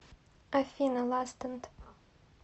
афина ластенд